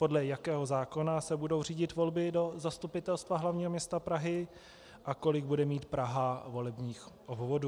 Podle jakého zákona se budou řídit volby do Zastupitelstva hlavního města Prahy a kolik bude mít Praha volebních obvodů.